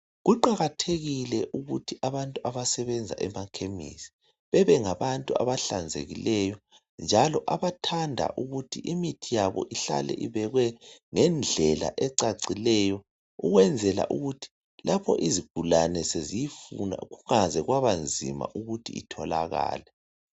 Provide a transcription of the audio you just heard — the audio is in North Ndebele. Kuqakathekile ukuthi abantu abasebenza emakhemisi bebe ngabantu abahlanzekileyo njalo abanthanda ukuthi imithi yabo ihlale ibekwe ngendlela ecacileyo ukwenzela ukuthi lapho izigulane weziyifuna kungaze kwabanzi ukuthi itholakale